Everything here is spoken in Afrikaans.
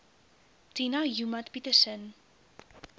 tina joemat pettersson